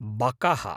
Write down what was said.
बकः